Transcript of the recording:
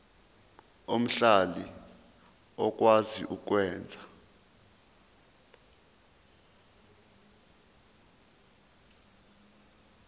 omhlali okwazi ukwenza